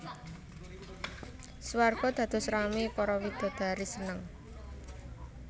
Swarga dados ramé para widodari seneng